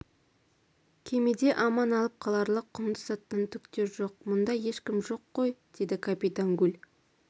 кемеде аман алып қаларлық құнды заттан түк те жоқ мұнда ешкім жоқ қой деді капитан гуль